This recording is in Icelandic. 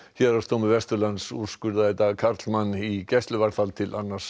héraðsdómur Vesturlands úrskurðaði í dag karlmann í gæsluvarðhald til annars